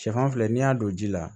Sɛfan filɛ n'i y'a don ji la